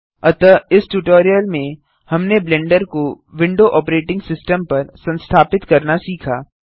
अतः इस ट्यूटोरियल में हमने ब्लेंडर को विंडो ऑपरेटिंग सिस्टम पर संस्थापित करना सीखा